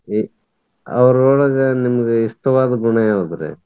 ಅವ್ರ್ ಒಳಗ ನಿಮ್ಗ ಇಷ್ಟವಾದ ಗುಣ ಯಾವದ್ರಿ?